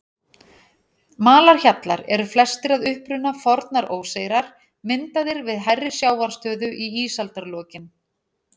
Malarhjallar eru flestir að uppruna fornar óseyrar, myndaðir við hærri sjávarstöðu í ísaldarlokin.